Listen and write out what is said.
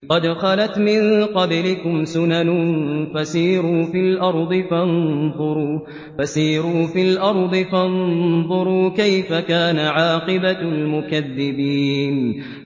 قَدْ خَلَتْ مِن قَبْلِكُمْ سُنَنٌ فَسِيرُوا فِي الْأَرْضِ فَانظُرُوا كَيْفَ كَانَ عَاقِبَةُ الْمُكَذِّبِينَ